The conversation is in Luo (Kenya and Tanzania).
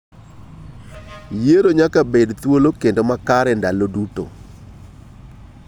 Yiero nyaka bed thuolo kendo makare kinde duto.